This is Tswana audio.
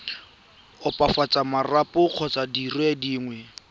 opafatsa marapo kgotsa dire dingwe